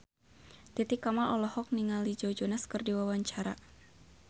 Titi Kamal olohok ningali Joe Jonas keur diwawancara